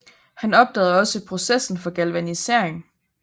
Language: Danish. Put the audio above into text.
Han opdagede også processen for galvanisering